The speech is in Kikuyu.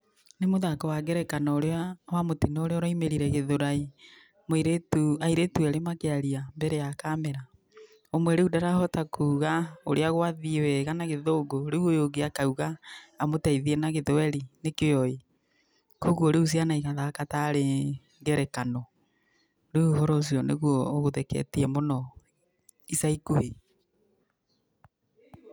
Nĩ mũthako wa ngerekano ũrĩa wa mũtino ũrĩa ũraumĩrire Gĩthũrai, mũirĩtu, airĩtu erĩ makĩaria mbere ya kamera. Umwe rĩu ndarahota kuuga ũrĩa gwathiĩ wega na Gĩthũngũ, rĩu ũyũ ũngĩ akauga amũteithie na Gĩthwaĩri nĩkĩo oĩ, kwogũo rĩu ciana igathaka tarĩ ngerekano. Rĩu ũhoro ũcio nĩguo ũtheketie mũno ica ikuhĩ.